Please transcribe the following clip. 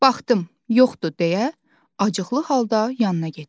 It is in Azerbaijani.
Baxdım, yoxdur deyə, acıqlı halda yanına getdim.